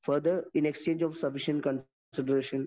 further in exchange of sufficient കോൺസി ഡിറേഷൻ